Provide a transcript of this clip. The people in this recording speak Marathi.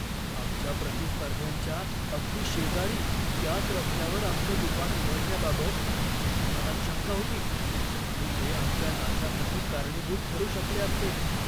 आमच्या प्रतिस्पर्ध्यांच्या अगदी शेजारी त्याच रस्त्यावर आमचं दुकान उघडण्याबाबत माझ्या मनात शंका होती आणि ते आमच्या नाशासाठी कारणीभूत ठरू शकले असते.